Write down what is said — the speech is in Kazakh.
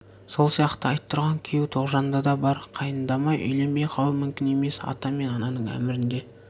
сол сияқты айттырған күйеу тоғжанда да бар қайындамай үйленбей қалу мүмкін емес ата мен ананың әмірінде